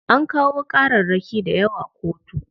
An kawo ƙararraki dayawa kotu.